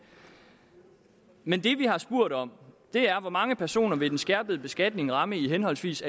men det vi har spurgt om er hvor mange personer den skærpede beskatning vil ramme i henholdsvis